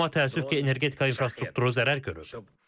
Amma təəssüf ki, energetika infrastrukturu zərər görüb.